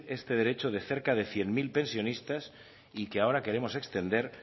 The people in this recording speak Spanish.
este derecho de cerca de cien mil pensionistas y que ahora queremos extender